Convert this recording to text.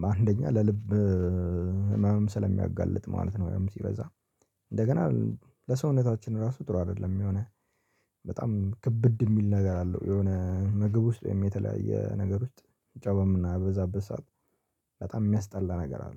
በአንደኛ ለልብ ህመምም ስለሚያጋልጥ ማለት ነው። ያውም ሲበዛ እንደገና ለሰውነታችን ራሱ ጥሩ አይደለም የሆነ በጣም ክብድ የሚል ነገር አለው። የሆነ ምግብ ውስጥ የተለያየ ነገር ውስጥ ጨው በምናበዛበት ሰዓት በጣም የሚያስጠላ ነገር አለ